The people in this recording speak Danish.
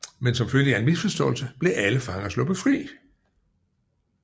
Men som følge af en misforståelse blev alle fanger sluppet fri